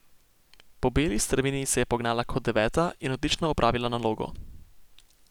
Po beli strmini se je pognala kot deveta in odlično opravila nalogo.